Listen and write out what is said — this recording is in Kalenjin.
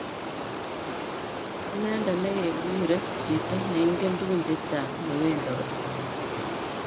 Inendet negekuree chito neingen tugun chechang newendoti